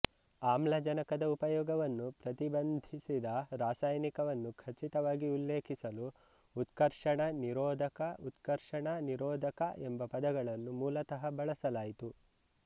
ಆಮ್ಲಜನಕದ ಉಪಯೋಗವನ್ನು ಪ್ರತಿಬಂಧಿಸಿದ ರಾಸಾಯನಿಕವನ್ನು ಖಚಿತವಾಗಿ ಉಲ್ಲೇಖಿಸಲು ಉತ್ಕರ್ಷಣ ನಿರೋಧಕ ಉತ್ಕರ್ಷಣ ನಿರೋಧಕ ಎಂಬ ಪದವನ್ನು ಮೂಲತಃ ಬಳಸಲಾಯಿತು